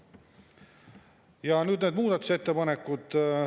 Ja nüüd need muudatusettepanekud.